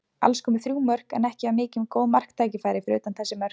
Alls komu þrjú mörk, en ekki var mikið um góð marktækifæri fyrir utan þessi mörk.